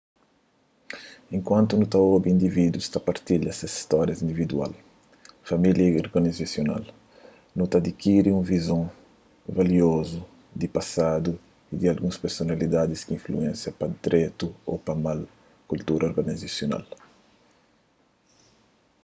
enkuantu nu ta obi individus ta partilha ses stórias individual familiar y organizasional nu ta adikiri un vizon valiozu di pasadu y di alguns personalidadis ki influensia pa dretu ô mal kultura organizasional